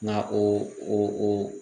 Na o